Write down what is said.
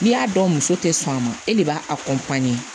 N'i y'a dɔn muso tɛ sɔn a ma e de b'a